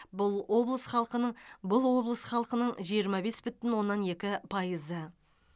бұл облыс халқының бұл облыс халқының жиырма бес бүтін оннан екі пайызы